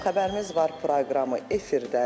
Xəbərimiz var proqramı efirdədir.